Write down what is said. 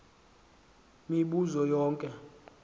mibu zo yonke